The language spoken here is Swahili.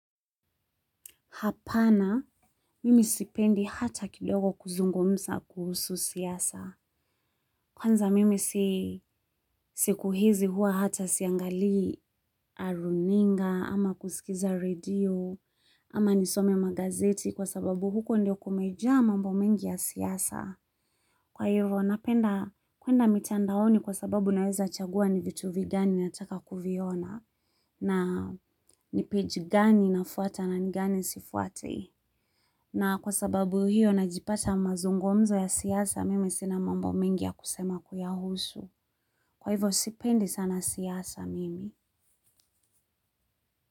Hapana, mimi sipendi hata kidogo kuzungumza kuhusu siasa. Kwanza mimi siku hizi huwa hata siangalii runinga, ama kusikiza radio, ama nisome magazeti kwa sababu huko ndio kumejaa mambo mengi ya siasa. Kwa hivyo, napenda kwenda mitandaoni kwa sababu naweza chagua ni vitu vigani nataka kuviona, na nipeji gani nafuata na gani sifuati. Na kwa sababu hiyo najipata mazungomzo ya siasa mimi sina mambo mingi ya kusema kuyahusu. Kwa hivyo sipendi sana siasa mimi.